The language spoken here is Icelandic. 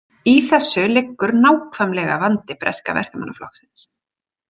Í þessu liggur nákvæmlega vandi breska Verkamannaflokksins.